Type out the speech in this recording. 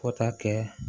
Fo ka kɛ